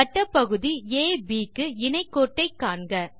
வட்டப்பகுதி AB க்கு இணை கோட்டை காண்க